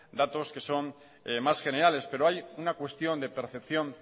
datos que son más generales pero hay una cuestión de percepción